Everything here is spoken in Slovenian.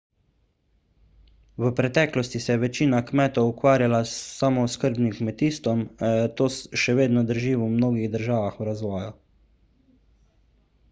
v preteklosti se je večina kmetov ukvarjala s samooskrbnim kmetijstvom to še vedno drži v mnogih državah v razvoju